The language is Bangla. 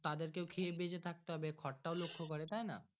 তাদের কে খেয়েও বাঁচে থাকতে হবে খোরটাও লক্ষ্য করে তাই না।